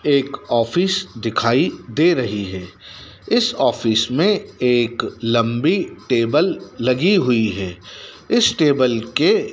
एक ऑफिस दिखाई दे रही है इस ऑफिस में एक लंबी टेबल लगी हुई है इस टेबल के--